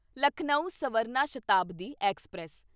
Lucknow Swarna Shatabdi express